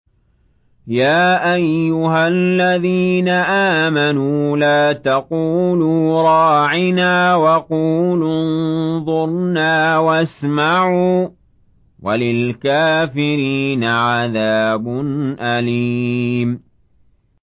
يَا أَيُّهَا الَّذِينَ آمَنُوا لَا تَقُولُوا رَاعِنَا وَقُولُوا انظُرْنَا وَاسْمَعُوا ۗ وَلِلْكَافِرِينَ عَذَابٌ أَلِيمٌ